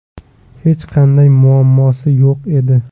Hech qanday muammosi yo‘q edi.